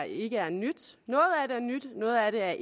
ikke er nyt noget af det er